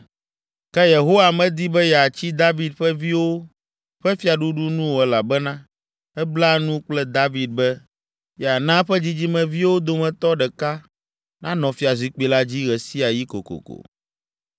Ke Yehowa medi be yeatsi David ƒe viwo ƒe fiaɖuɖu nu o elabena ebla nu kple David be, yeana eƒe dzidzimeviwo dometɔ ɖeka nanɔ fiazikpui la dzi ɣe sia ɣi kokoko.